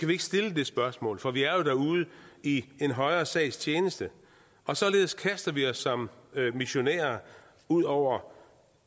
vi ikke stille det spørgsmål for vi er jo derude i en højere sags tjeneste og således kaster vi os som missionærer ud over